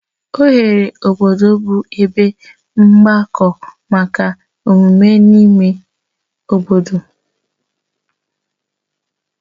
Oghere obodo bụ ebe mgbakọ maka mmemme n'ime obodo